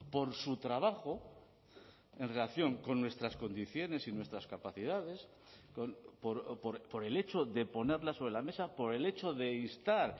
por su trabajo en relación con nuestras condiciones y nuestras capacidades por el hecho de ponerlas sobre la mesa por el hecho de instar